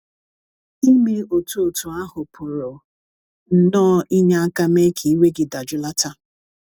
ịme otú otú ahụ pụrụ nnọọ inye aka mee ka iwe gị dajụlata.